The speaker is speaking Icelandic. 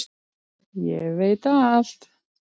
og veit alt.